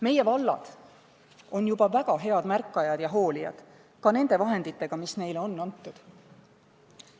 Meie vallad on juba väga head märkajad ja hoolijad ka nende vahendite piires, mis neile on antud.